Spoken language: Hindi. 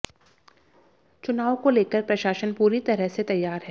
चुनाव को लेकर प्रशासन पूरी तरह से तैयार है